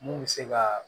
Mun bɛ se ka